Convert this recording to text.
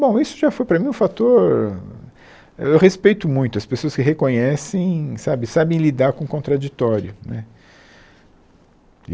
Bom, isso já foi para mim um fator... Eu respeito muito as pessoas que reconhecem, sabe, e sabem lidar com o contraditório né.